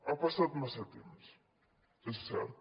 ha passat massa temps és cert